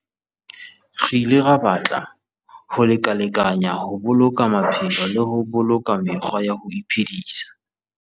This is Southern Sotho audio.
Re ile ra batla ho lekalekanyana ho boloka maphelo le ho boloka mekgwa ya ho iphedisa.